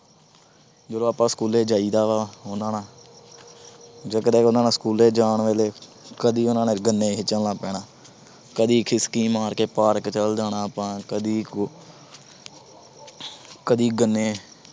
ਜਦੋਂ ਆਪਾ school ਜਾਇਦਾ ਵਾ ਉਹਨਾਂ ਨਾਲ ਜੇ ਕਦੇ ਉਹਨਾਂ ਨਾਲ school ਜਾਣ ਵੇਲੇ, ਕਦੀ ਉਹਨਾਂ ਨਾਲ ਗੰਨੇ ਖਿੱਚਣ ਲੱਗ ਪੈਣਾ, ਕਦੀ ਖਿਸਕੀ ਮਾਰ ਕੇ park ਚਲ ਜਾਣਾ ਆਪਾ, ਕਦੀ ਅਹ ਕਦੀ ਗੰਨੇ